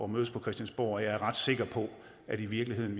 mødes på christiansborg og jeg er ret sikker på at vi i virkeligheden